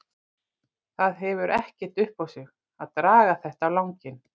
Það hefur ekkert upp á sig að draga þetta á langinn.